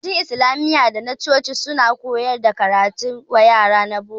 Makarantun Islamiyya da na coci su ma suna koyar wa yara karatun boko.